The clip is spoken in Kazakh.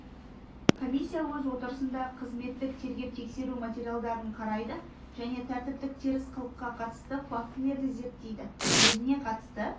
комиссия өз отырысында қызметтік тергеп-тексеру материалдарын қарайды және тәртіптік теріс қылыққа қатысты фактілерді зерттейді өзіне қатысты